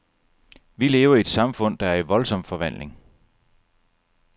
Vi lever i et samfund, der er i voldsom forvandling.